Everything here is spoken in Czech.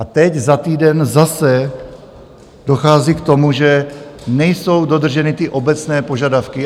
A teď, za týden, zase dochází k tomu, že nejsou dodrženy ty obecné požadavky.